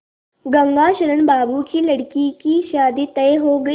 गंगाशरण बाबू की लड़की की शादी तय हो गई